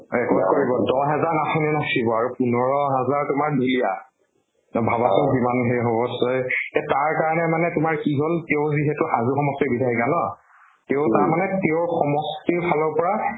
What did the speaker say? record কৰিব। দ্হ হাজাৰ নাচনী নাচিব আৰু পোন্ধৰ হাজাৰ তোমাৰ ঢুলীয়া। ভাবাচোন কিমান হেই হব চয়। তাৰ কাৰণে মানে তোমাৰ কি হল হাজু সমষ্টিৰ বিচাৰিলা ন । তিয় তাৰ মানে তিয়ক সমষ্টিৰ ফালৰ পৰা